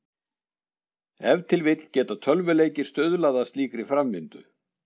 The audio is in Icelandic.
Ef til vill geta tölvuleikir stuðlað að slíkri framvindu.